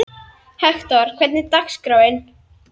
Hektor, hvernig er dagskráin?